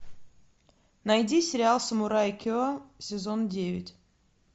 найди сериал самурай ке сезон девять